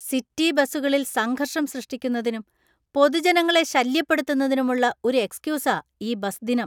City ബസുകളിൽ സംഘർഷം സൃഷ്ടിക്കുന്നതിനും, പൊതുജനങ്ങളെ ശല്യപ്പെടുത്തുന്നതിനുമുള്ള ഒരു എസ്ക്യൂസാ ഈ ബസ് ദിനം.